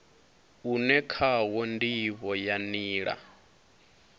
une khawo ndivho ya nila